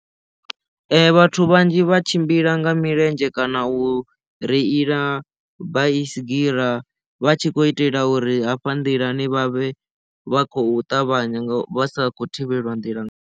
Vhathu vhanzhi vha tshimbila nga milenzhe kana u reila vha baisigirama vha tshi khou itela uri hafha nḓilani vhavhe vha kho ṱavhanya vha sa khou thivhelwa nḓila.